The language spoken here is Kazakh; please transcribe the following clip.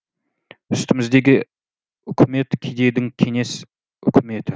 үстіміздегі үкімет кедейдің кеңес үкіметі